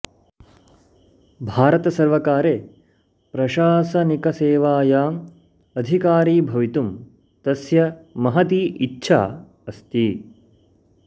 भारतसर्वकारे प्रशासनिकसेवायां अधिकरी भवितुं तस्य महती इच्छा अस्ति